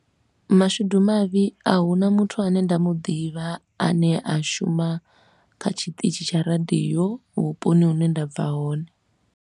Mashudu mavhi a hu na muthu a ne nda mu ḓivha a ne a shuma kha tshiṱitshi tsha radio vhuponi hune nda bva hone.